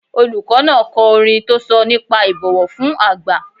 Olùkọ́ náà ko orin tó sọ nípa ìbọ̀wọ̀ fún àgbà.